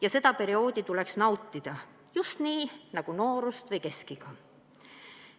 Ja seda perioodi tuleks nautida, just nii nagu noorust või keskiga.